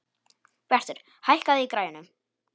Bjartur, hækkaðu í græjunum.